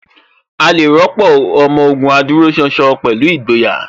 A lè rọ́pò Ọmọ Ògùn adúróṣánṣán pẹ̀lú ìgboyà